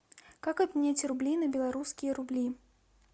как обменять рубли на белорусские рубли